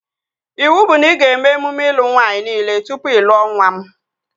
Iwu bụ na ị ga-eme emume ịlụ nwaanyị nile tụpụ ị lụọ nwa m